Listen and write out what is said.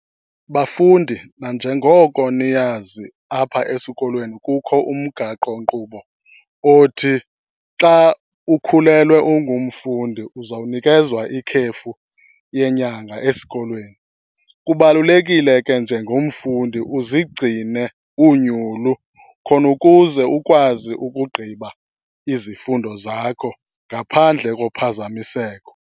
Bafundi, nanjengoko niyazi apha esikolweni kukho umgaqonkqubo othi xa ukhulelwe ungumfundi uzawunikezwa ikhefu yenyanga esikolweni. Kubalulekile ke njengomfundi uzigcine unyulu khona ukuze ukwazi ukugqiba izifundo zakho ngaphandle kophazamiseko.